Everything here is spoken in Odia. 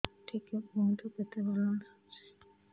ଟିକେ କୁହନ୍ତୁ କେତେ ବାଲାନ୍ସ ଅଛି